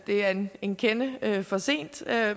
det er en en kende for sent